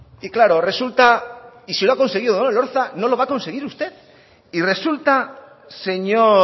y claro resulta si lo ha conseguido odón elorza lo va a conseguir usted y resulta señor